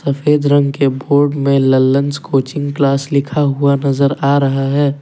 सफेद रंग के बोर्ड में ललंस कोचिंग क्लास लिखा हुआ नजर आ रहा है।